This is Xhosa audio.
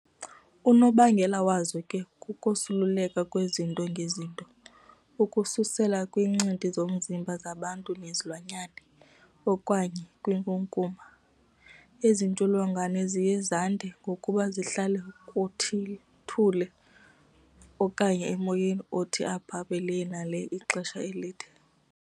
Unobangela wazo ke kukosuleleka kwezinto ngezinto, ukususela kwiincindi zomzimba zabantu nezilwanyana, okanye kwinkunkuma. Ezintsholongwane ziye zande ngokuba zihlale kuthuli okanye emoyeni othi abhabhe lee na lee ixesha elide.